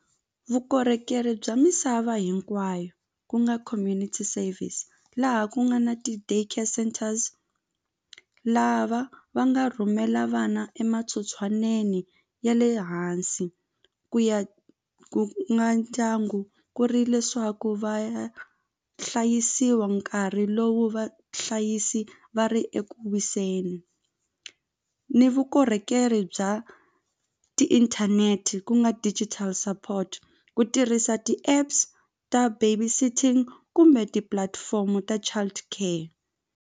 Vukorhokeri bya misava hinkwayo ku nga community service laha ku nga na ti-day care centers lava va nga rhumela vana ya le hansi ku ya ku nga ndyangu ku ri leswaku va ya hlayisiwa nkarhi lowu vahlayisi va ri eku wiseni ni vukorhokeri bya ti-internet ku nga digital support ku tirhisa ti-apps ta baby sitting kumbe tipulatifomo ta child care.